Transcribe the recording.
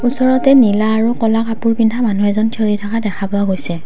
ওচৰতে নীলা আৰু ক'লা কাপোৰ পিন্ধা মানুহ এজন থিয়হি থকা দেখা পোৱা গৈছে।